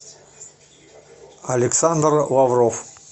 александр лавров